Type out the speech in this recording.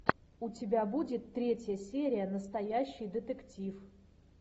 у тебя будет третья серия настоящий детектив